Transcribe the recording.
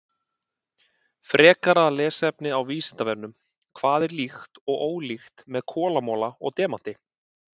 Frekara lesefni á Vísindavefnum: Hvað er líkt og ólíkt með kolamola og demanti?